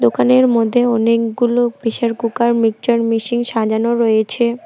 দোকানের মধ্যে অনেকগুলো প্রেসার কুকার মিকচার মেশিন সাজানো রয়েছে।